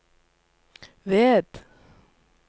ved